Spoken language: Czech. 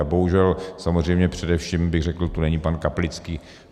A bohužel samozřejmě, především bych řekl, tu není pan Kaplický.